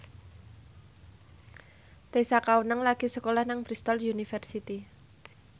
Tessa Kaunang lagi sekolah nang Bristol university